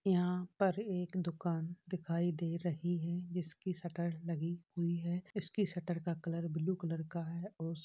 यहाँ पर एक दुकान दिखाई दे रही है जिसकी शटर लगी हुई है। इसकी शटर का कलर ब्लू कलर का है। औश --